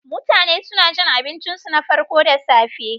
Mutane suna cin abincinsu na farko da safe.